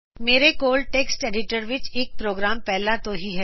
ਮੇਰੇ ਕੋਲ text editor ਵਿਚ ਇਕ ਪ੍ਰੋਗਰਾਮ ਪਹਿਲਾਂ ਤੋ ਹੀ ਹੈ